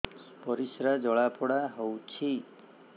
ପରିସ୍ରା ଜଳାପୋଡା ହଉଛି